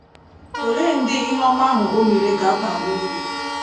Olee ndị ihe ọma ahụ o mere ga - abara uru?